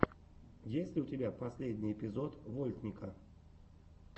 есть ли у тебя последний эпизод вольтника